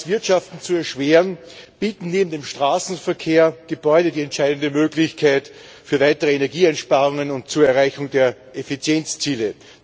Auflagen, das Wirtschaften zu erschweren, bieten neben dem Straßenverkehr Gebäude die entscheidende Möglichkeit für weitere Energieeinsparungen und zur Erreichung der Effizienzziele.